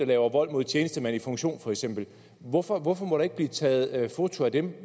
laver vold mod tjenestemand i funktion hvorfor hvorfor må der ikke blive taget foto af dem